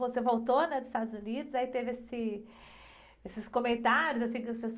Você voltou, né? Dos Estados Unidos, aí, teve esse, esses comentários, assim, das pessoas.